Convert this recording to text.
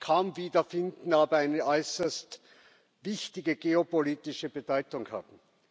kaum wiederfinden, aber eine äußerst wichtige geopolitische Bedeutung haben.